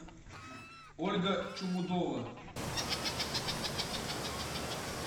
ольга чумудова